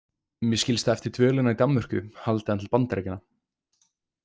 Mér skilst að eftir dvölina í Danmörku haldi hann til Bandaríkjanna.